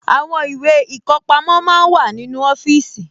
Àwọn ìwé ìkọpamọ́ máa ń wà nínú ọfíìsì